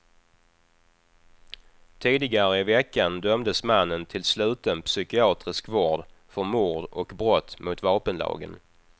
Tidigare i veckan dömdes mannen till sluten psykiatrisk vård för mord och brott mot vapenlagen.